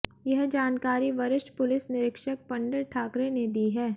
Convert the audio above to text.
यह जानकारी वरिष्ठ पुलिस निरीक्षक पंडित ठाकरे ने दी है